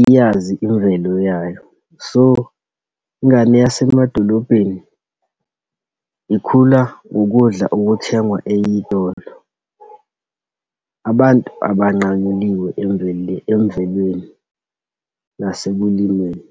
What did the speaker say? iyazi imvelo yayo. So, ingane yasemadolobheni, ikhula ngokudla okuthengwa eyitolo. Abantu abanqanyuliwe emvelweni nasekulimeni.